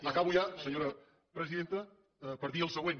acabo ja senyora presidenta per dir el següent